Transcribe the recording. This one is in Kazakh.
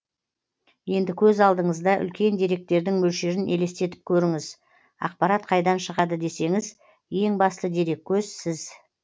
енді көз алдыңызда үлкен деректердің мөлшерін елестетіп көріңіз ақпарат қайдан шығады десеңіз ең басты дереккөз сіз